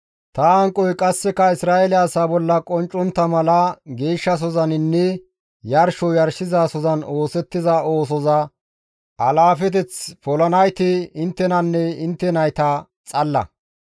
«Ta hanqoy qasseka Isra7eele asaa bolla qonccontta mala geeshshasozaninne yarsho yarshizasozan oosettiza oosoza alaafeteth polanayti inttenanne intte nayta xalla.